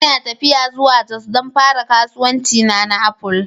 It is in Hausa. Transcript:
Ina tafiya zuwa jos don fara kasuwancina na Apple